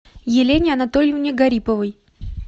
елене анатольевне гариповой